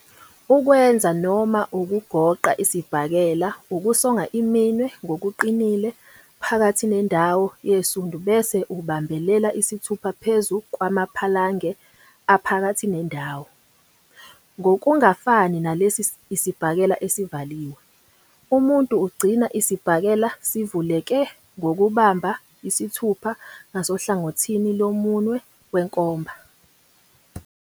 Ukwenza noma ukugoqa isibhakela ukusonga iminwe ngokuqinile phakathi nendawo yesundu bese ubambelela isithupha phezu kwamaphalange aphakathi nendawo, ngokungafani nalesi isibhakela "esivaliwe", umuntu ugcina isibhakela "sivuleke" ngokubamba isithupha ngasohlangothini lomunwe wenkomba.